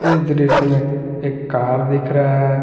इस दृश्य में एक कार दिख रहा हैं।